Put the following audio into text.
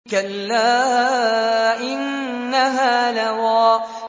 كَلَّا ۖ إِنَّهَا لَظَىٰ